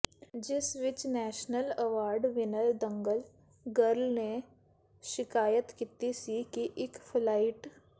ਜਿਸ ਵਿੱਚ national award winner Dangal girl ਨੇ ਸ਼ਿਕਾਇਤ ਕੀਤੀ ਸੀ ਕਿ ਫਲਾਈਟ